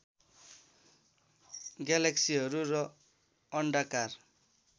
ग्यालेक्सीहरू र अण्डाकार